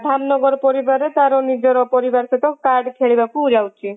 ଧାମନଗର ପରିବାର ରେ ତାର ନିଜର ପରିବାର ସହିତ କାର୍ଡ ଖେଳିବାକୁ ଯାଉଛି